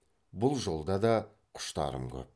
бұл жолда да құштарым көп